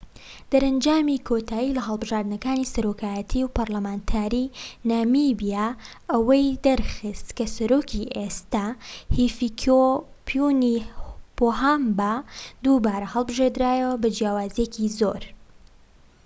دەرەنجامی کۆتایی لە هەڵبژاردنەکانی سەرۆکایەتی و پەرلەمانتاریی نامیبیا وە ئەوەی دەرخست کە سەرۆکی ئێستا هیفیکێپونی پۆهامبا دووبارە هەڵبژێردرایەوە بە جیاوازییەکی زۆر